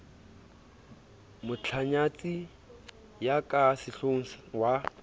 motlanyatsi ya ka sehlohong wa